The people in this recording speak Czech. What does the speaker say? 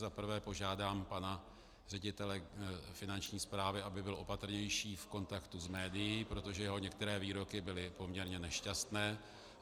Za prvé požádám pana ředitele Finanční správy, aby byl opatrnější v kontaktu s médii, protože jeho některé výroky byly poměrně nešťastné.